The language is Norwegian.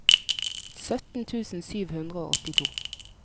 sytten tusen sju hundre og åttito